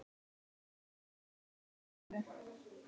Örn rak upp stór augu.